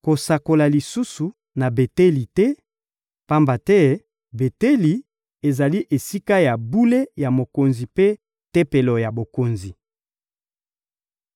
Kosakola lisusu na Beteli te, pamba te Beteli ezali Esika ya bule ya mokonzi mpe tempelo ya bokonzi.